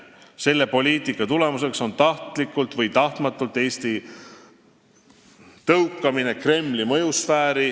Selle poliitika tulemuseks on tahtlikult või tahtmatult Eesti tõukamine Kremli mõjusfääri.